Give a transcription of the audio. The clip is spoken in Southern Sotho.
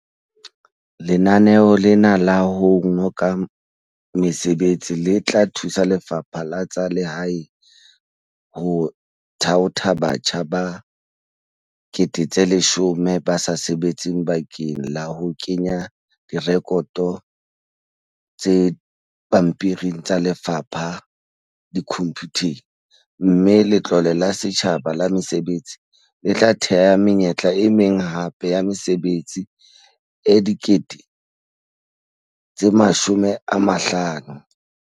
Lenaneo lena la ho ngoka mesebetsi le tla thusa Lefapha la tsa Lehae ho thaotha batjha ba 10 000 ba sa sebetseng bakeng la ho kenya direkoto tse pampiring tsa lefapha dikhomphuteng, mme Letlole la Setjhaba la Mesebetsi, SEF, le tla thea menyetla e meng hape ya mesebetsi e 50 000.